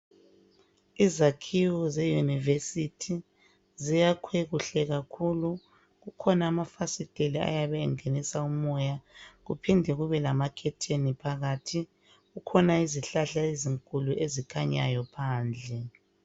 Izakhiwo zeYunivesi ziyakhwe kuhle kakhulu. Kukhona amafasiteli ayabe engenisa umoya kuphinde kube lamakhetheni phakathi. Kukhona izihlahla ezinkulu ezikhanyayo phandle.